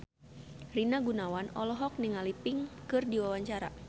Rina Gunawan olohok ningali Pink keur diwawancara